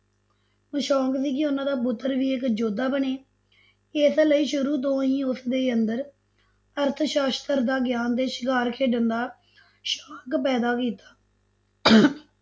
ਸ਼ੋਕ ਸੀ ਕਿ ਉਹਨਾਂ ਦਾ ਪੁੱਤਰ ਵੀ ਇੱਕ ਯੋਧਾ ਬਣੇ, ਇਸ ਲਈ ਸ਼ੁਰੂ ਤੋ ਹੀ ਉਸ ਦੇ ਅੰਦਰ ਅਰਥਸ਼ਾਸਤਰ ਦਾ ਗਿਆਨ ਤੇ ਸ਼ਿਕਾਰ ਖੇਡਣ ਦਾ ਸ਼ੋਕ ਪੈਦਾ ਕੀਤਾ